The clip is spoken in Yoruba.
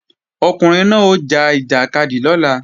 Ọkùnrin náà ó ja ìjàkadì lọ́la